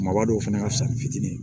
Maaba dɔw fana ka fisa ni fitinin ye